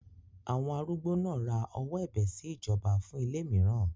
Àwọn arúgbó náà ra ọwọ́ ẹ̀bẹ̀ sí ìjọba fún ilé mìíràn.